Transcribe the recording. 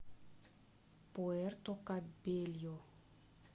пуэрто кабельо